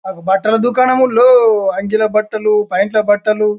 బట్టల దుకాణంలో అంగీలు బట్టలు ప్యాంట్లు బట్టలు--